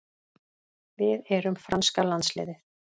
Við erum franska landsliðið.